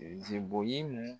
Zebɔn ye